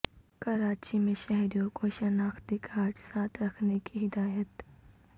کراچی میں شہریوں کو شناختی کارڈ ساتھ رکھنے کی ہدایت